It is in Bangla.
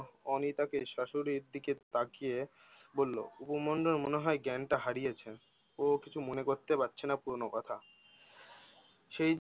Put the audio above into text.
অনিতাকে শাশুড়ির দিকে তাকিয়ে বললো, উপমন্যুর মনে হয় জ্ঞানটা হারিয়েছে! ও কিছু মনে করতে পারছে না পুরনো কথা! সেই-